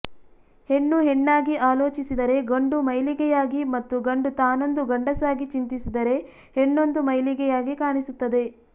ಹೆಣ್ಣು ಹೆಣ್ಣಾಗಿ ಆಲೋಚಿಸಿದರೆ ಗಂಡು ಮೈಲಿಗೆಯಾಗಿ ಮತ್ತು ಗಂಡು ತಾನೊಂದು ಗಂಡಸಾಗಿ ಚಿಂತಿಸಿದರೆ ಹೆಣ್ಣೊಂದು ಮೈಲಿಗೆಯಾಗಿ ಕಾಣಿಸುತ್ತದೆ